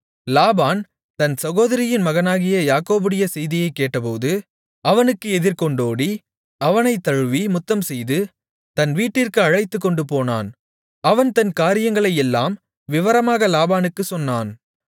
லாபான் தன் சகோதரியின் மகனாகிய யாக்கோபுடைய செய்தியைக் கேட்டபோது அவனுக்கு எதிர்கொண்டோடி அவனைத் தழுவி முத்தம்செய்து தன் வீட்டிற்கு அழைத்துக்கொண்டுபோனான் அவன் தன் காரியங்களையெல்லாம் விவரமாக லாபானுக்குச் சொன்னான்